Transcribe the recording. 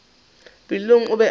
pelong o be a re